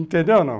Entendeu ou não?